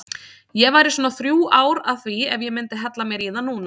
Ég væri svona þrjú ár að því ef ég myndi hella mér í það núna.